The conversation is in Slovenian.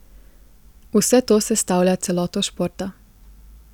Vse to sestavlja celoto športa.